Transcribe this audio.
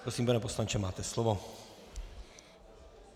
Prosím, pane poslanče, máte slovo.